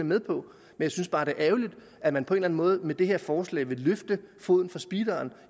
med på jeg synes bare det er ærgerligt at man på en eller anden måde med det her forslag vil løfte foden fra speederen